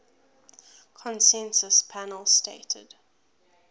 consensus panel stated